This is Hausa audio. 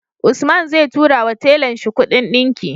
Usman zai tura wa tellan shi Ƙudin dinki